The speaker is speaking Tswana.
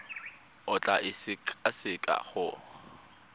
o tla e sekaseka go